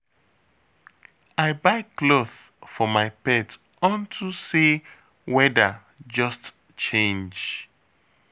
I buy cloth for my pet unto say weather just change